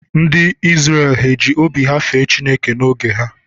Ndị Izrel ha ji obi ha fee Chineke n'oge ha?